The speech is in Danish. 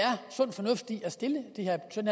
sund